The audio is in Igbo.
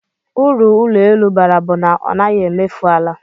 Uru ụlọelu bara bụ na ọ naghị emefu ala